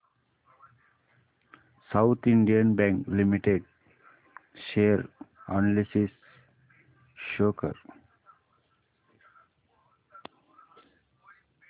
south Indian Bank Limited share analysis show कर